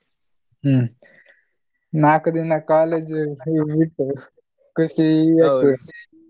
ಹ್ಮ್ ನಾಕು ದಿನ college ಬಿಟ್ಟು ಖುಷಿ ಆಗ್ತದೆ.